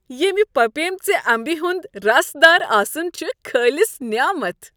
ییمِہ پپیمٕژِ امبہِ ہُند رسدار آسن چُھ خٲلص نیامتھ ۔